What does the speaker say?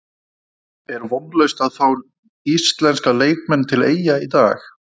Er vonlaust að fá íslenska leikmenn til Eyja í dag?